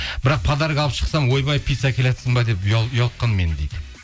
бірақ подарка алып шықсам ойбай пицца әкелатсың ба деп ұялтқан мені дейді